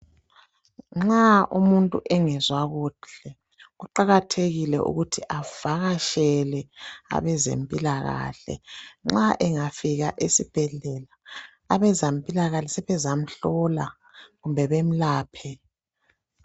Nxa umuntu engezwa kuhle kuqakathekile ukuthi avakatshele abezempilakahle nxa engafika esibhedlela abezampilakahle sebezamhlola kumbe bamlaphe.